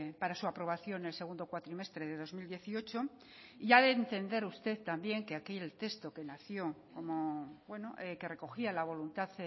para su aprobación en el segundo cuatrimestre del dos mil dieciocho ha de entender usted también que aquí el texto que recogía la voluntad